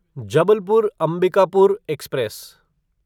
Jabalpur Ambikapur express